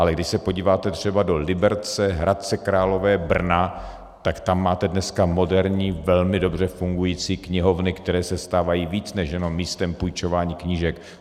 Ale když se podíváte třeba do Liberce, Hradce Králové, Brna, tak tam máte dneska moderní, velmi dobře fungující knihovny, které se stávají víc než jenom místem půjčování knížek.